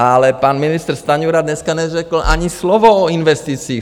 Ale pan ministr Stanjura dneska neřekl ani slovo o investicích.